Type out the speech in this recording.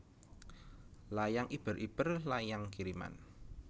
Layang Iber iber Layang Kiriman